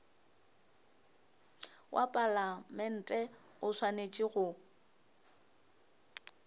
wa palamente o swanetše go